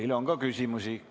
Teile on ka küsimusi.